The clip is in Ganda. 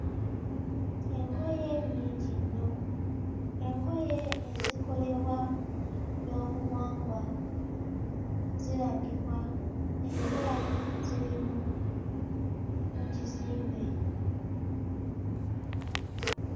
Engoye nnyingi nnyo engoye ezikolebwa mu byobuwangwa ziragibwa era ziri mu mu kizimbe.